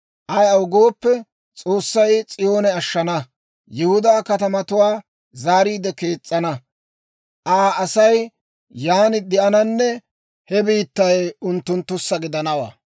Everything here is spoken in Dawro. Ayaw gooppe, S'oossay S'iyoone ashshana; Yihudaa katamatuwaa zaariide kees's'ana. Aa Asay yaan de'ananne he biittay unttunttussa gidanawaa.